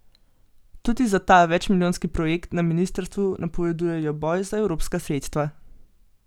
Tudi za ta večmilijonski projekt na ministrstvu napovedujejo boj za evropska sredstva.